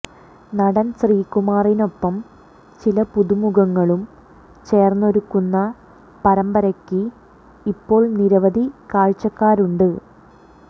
നടൻ ശ്രീകുമാറിനൊപ്പം ചില പുതുമുഖങ്ങളും ചേർന്നൊരുക്കുന്ന പരമ്പരയ്ക്ക് ഇപ്പോൾ നിരവധി കാഴ്ചക്കാരുണ്ട്